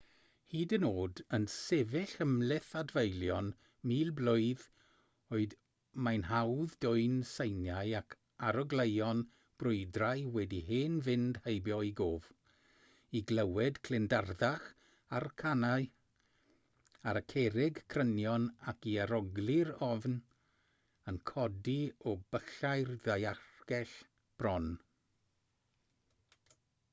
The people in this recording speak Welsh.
hyd yn oed yn sefyll ymhlith adfeilion mil blwydd oed mae'n hawdd dwyn seiniau ac arogleuon brwydrau wedi hen fynd heibio i gof i glywed clindarddach y carnau ar y cerrig crynion ac i arogli'r ofn yn codi o byllau'r ddaeargell bron